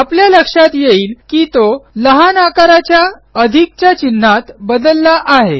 आपल्या लक्षात येईल की तो लहान आकाराच्या अधिकच्या चिन्हात बदलला आहे